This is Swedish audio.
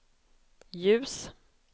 ljus